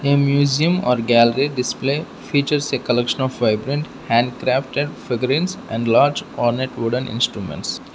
a museum or gallery display features a collection of vibrant handcrafted figurens enlarged on a wooden instruments.